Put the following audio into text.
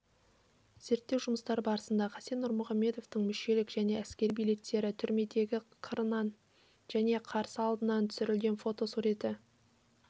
зерттеу жұмыстары барысында хасен нұрмұхамедовтың мүшелік және әскери билеттері түрмедегі қырынан және қарсы алдынан түсірілген фотосуреті